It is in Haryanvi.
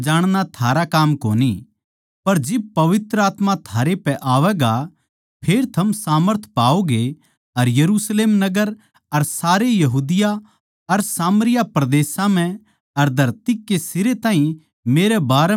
पर जिब पवित्र आत्मा थारै पै आवैगा फेर थम सामर्थ पाओगे अर यरुशलेम नगर अर सारे यहूदा और सामरिया परदेसां म्ह अर धरती कै सिरे ताहीं मेरे बारें म्ह गवाही द्योगे